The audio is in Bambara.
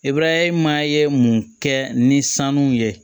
Ibarahima ye mun kɛ ni sanu ye